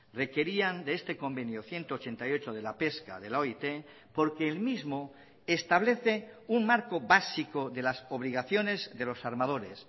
requerían de este convenio ciento ochenta y ocho de la pesca de la oit porque el mismo establece un marco básico de las obligaciones de los armadores